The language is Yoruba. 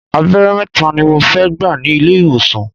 Abẹ́rẹ́ mẹ́ta ni mo fẹ́ gbà ní ilé ìwòsàn.